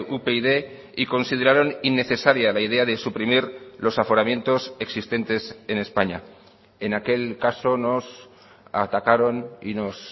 upyd y consideraron innecesaria la idea de suprimir los aforamientos existentes en españa en aquel caso nos atacaron y nos